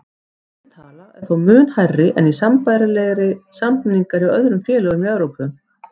Þessi tala er þó mun hærri en sambærilegir samningar hjá öðrum félögum í Evrópu.